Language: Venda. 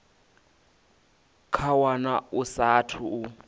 kha wana a saathu u